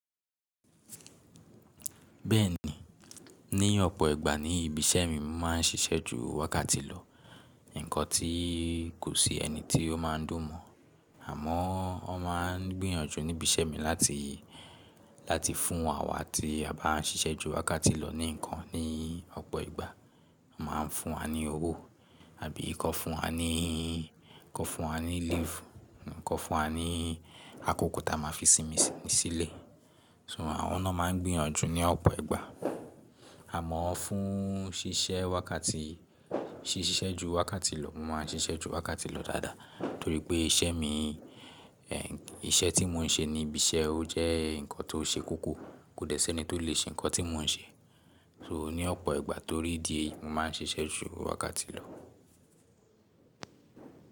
Bẹ́ẹ̀ni, ní ọ̀pọ̀ ìgbà ní ibi iṣẹ́ mi máa ń ṣiṣẹ́ jú wákàtì lọ. Nǹkan tí kò sí ẹni tí ó máa ń dùn mọ́. Àmọ́, wọ́n máa ń gbìyànjú ní ibi iṣẹ́ mi láti, láti fún awá tí a bá ń ṣiṣẹ́ ju wákàtì lọ ní nǹkan. Ní ọ̀pọ̀ ìgbà, wọ́n máa ń fún wa ní owó, àbí kọ fún wa ní, kọ fún wa ní "leave", kọ fún wa ní akókò tí a máa fi sinmi sílé. "So", àwọn ná máa ń gbìyànjú ní ọ̀pọ̀ ìgbà. Àmọ́, fún ṣiṣẹ́ wákàtì, siṣiṣẹ́ ju wákàtì lọ, mo máa ń ṣiṣẹ́ ju wákàtì lọ dáadáa, torípé iṣẹ́ mí, iṣẹ́ tí mo ń ṣe ní ibi iṣẹ́, ó jẹ́ nǹkan tó ṣe kókó. Kò dẹ́ ṣe ẹni tó lè ṣe nǹkan tí mo ń ṣe. "So", ní ọ̀pọ̀ ìgbà torí dí èyí, mo máa ń ṣiṣẹ́ ju wákàtì lọ.